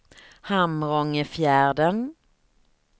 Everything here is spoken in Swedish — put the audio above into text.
Hamrångefjärden